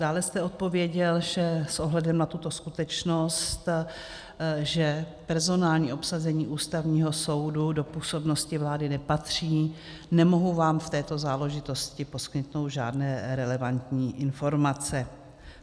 Dále jste odpověděl, že "s ohledem na tuto skutečnost, že personální obsazení Ústavního soudu do působnosti vlády nepatří, nemohu vám v této záležitosti poskytnout žádné relevantní informace".